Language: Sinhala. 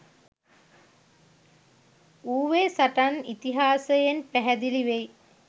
ඌවේ සටන් ඉතිහාසයෙන් පැහැදිලි වෙයි.